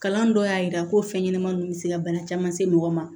Kalan dɔ y'a yira ko fɛn ɲɛnɛman ninnu bɛ se ka bana caman se mɔgɔ ma